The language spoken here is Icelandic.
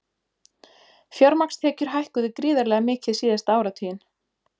Fjármagnstekjur hækkuðu gríðarlega mikið síðasta áratuginn